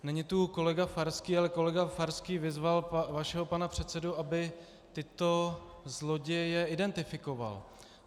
Není tu kolega Farský, ale kolega Farský vyzval vašeho pana předsedu, aby tyto zloděje identifikoval.